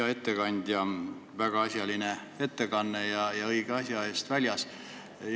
Hea ettekandja, väga asjaline ettekanne ja õige asja eest väljas!